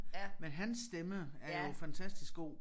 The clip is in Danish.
Men hans stemme er jo fantastisk god